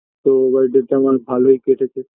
তো birthday -তে আমার ভালোই কেটেছে